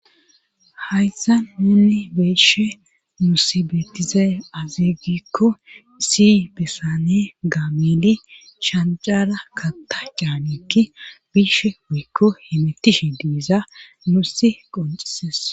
hayssa nuunni be'she musi bettize azegikko si bessane gaamili cshancara katta caanekki bishe wuykko himitishe diiza nusi qoncises